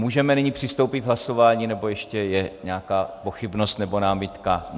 Můžeme nyní přistoupit k hlasování, nebo ještě je nějaká pochybnost nebo námitka?